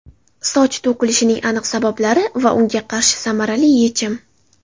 Soch to‘kilishining aniq sabablari va unga qarshi samarali yechim!.